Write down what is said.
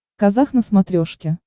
казах на смотрешке